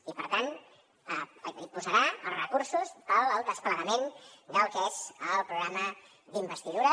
i per tant hi posarà els recursos per al desplegament del que és el programa d’investidura